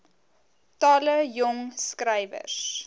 talle jong skrywers